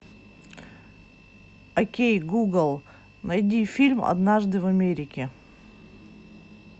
окей гугл найди фильм однажды в америке